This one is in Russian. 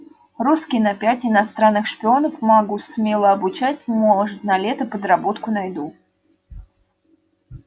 русский на пять иностранных шпионов могу смело обучать может на лето подработку найду